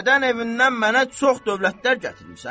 Dədən evindən mənə çox dövlətlər gətirmisən?